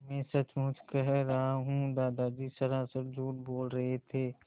मैं सचमुच कह रहा हूँ दादा सरासर झूठ बोल रहे थे